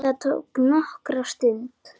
Það tók nokkra stund.